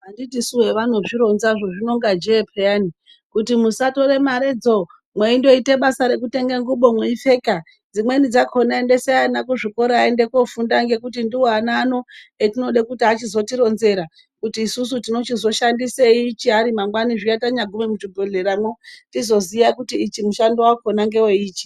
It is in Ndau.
Anditisu evanozvironzazvo zvinonga jee peyani kuti musatore maredzo mweindoite basa nekutenge ngubo mweipfeka dzimweni dzakona endesai ana kuzvikora aende kofunda ngekuti ndiwo ana ano etinode kuti achizotironzera kuti isusu tinochizoshandisei ari mangwani zviya tagume muchibhehlera mwo tizoziya kuti ichi mushandowakona ngweye ichi.